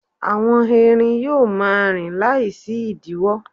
àwọn erin yíò ma rin Lai sí idiwo